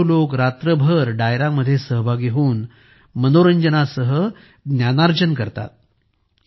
हजारो लोक रात्रभर डायरा मध्ये सहभागी होऊन मनोरंजनासह ज्ञानार्जन करतात